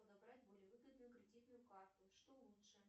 подобрать более выгодную кредитную карту что лучше